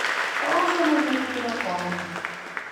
ouso ne nyithindo kong'o